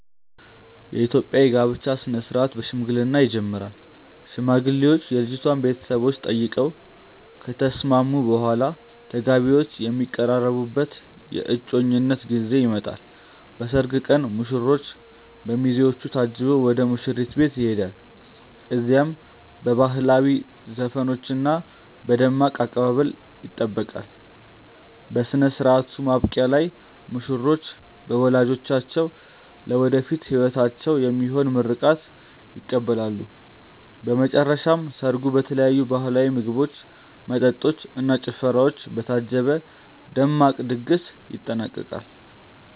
የኢትዮጵያ የጋብቻ ሥነ ሥርዓት በሽምግልና ይጀምራል። ሽማግሌዎች የልጅቷን ቤተሰቦች ጠይቀው ከተስማሙ በኋላ፣ ተጋቢዎቹ የሚቀራረቡበት የእጮኝነት ጊዜ ይመጣል። በሰርግ ቀን ሙሽራው በሚዜዎቹ ታጅቦ ወደ ሙሽሪት ቤት ይሄዳል። እዚያም በባህላዊ ዘፈኖችና በደማቅ አቀባበል ይጠበቃል። በሥነ ሥርዓቱ ማብቂያ ላይ ሙሽሮች በወላጆቻቸው ለወደፊት ሕይወታቸው የሚሆን ምርቃት ይቀበላሉ። በመጨረሻም ሰርጉ በተለያዩ ባህላዊ ምግቦች፣ መጠጦች እና ጭፈራዎች በታጀበ ደማቅ ድግስ ይጠናቀቃል።